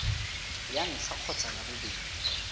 ya ntlha kgotsa ya bobedi